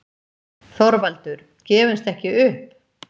ÞORVALDUR: Gefumst ekki upp!